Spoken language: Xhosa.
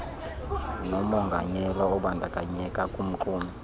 nomonganyelwa obandakanyeka kumxumi